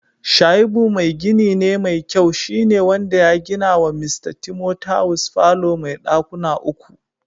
shaibu mai gini ne mai kyau shi ne wanda ya gina wa Mista Timothawus falo mai dakuna uku.